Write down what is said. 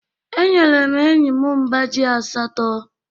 Enyere m enyi m mbá ji asatọ.